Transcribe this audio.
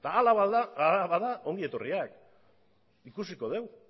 ba hala bada ongi etorriak ikusiko dugu